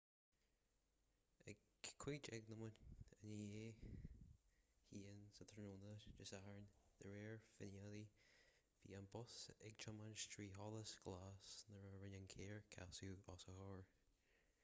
ag 1:15 r.n. dé sathairn de réir finnéithe bhí an bus ag tiomáint trí sholas glas nuair a rinne an carr casadh os a chomhair